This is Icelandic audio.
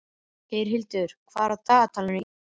Geirhildur, hvað er á dagatalinu í dag?